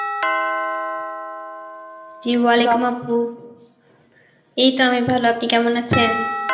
Arbi এই তো আমি ভালো, আপনি কেমন আছেন?